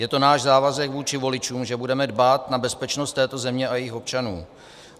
Je to náš závazek vůči voličům, že budeme dbát na bezpečnost této země a jejích občanů.